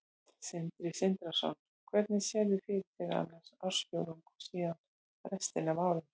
Sindri Sindrason: Hvernig sérðu fyrir þér annan ársfjórðung og síðan restina af árinu?